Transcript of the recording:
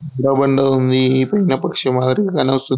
రబండ ఉంది ఈ పైన పక్షి మాదిరిగా కానవస్తూంది.